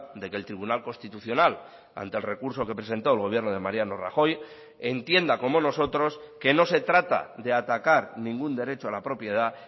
de que el tribunal constitucional ante el recurso que presentó el gobierno de mariano rajoy entienda como nosotros que no se trata de atacar ningún derecho a la propiedad